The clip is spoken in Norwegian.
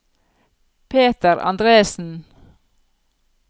Peter Andresen